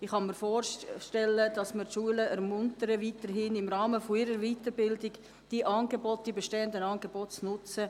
Ich kann mir weiter vorstellen, dass wir die Schulen ermuntern, auch zukünftig im Rahmen ihrer Weiterbildung die bestehenden Angebote zu nutzen.